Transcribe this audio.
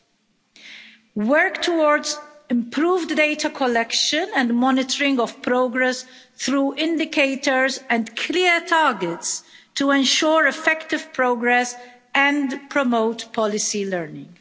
and work towards improved data collection and monitoring of progress through indicators and clear targets to ensure effective progress and promote policy learning.